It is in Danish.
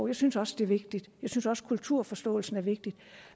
jeg synes også det er vigtigt jeg synes også kulturforståelsen er vigtig